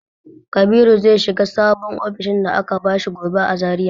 Kabiru zai shiga sabon ofishin da aka bashi gobe a Zariya.